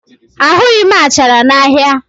Ahụghị m achara n'ahịa